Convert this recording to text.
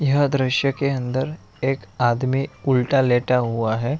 यहां दृश्य के अंदर एक आदमी उलटा लेटा हुआ है।